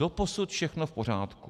Doposud všechno v pořádku.